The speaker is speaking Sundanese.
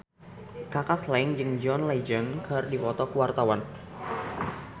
Kaka Slank jeung John Legend keur dipoto ku wartawan